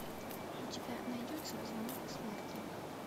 у тебя найдется звонок смерти